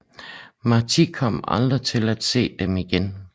Martí kom aldrig til at se dem igen